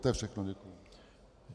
To je všechno, děkuji.